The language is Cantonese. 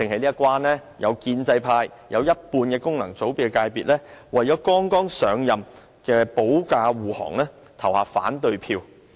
有建制派及一半功能界別議員為了剛上任的特首保駕護航，投下反對票。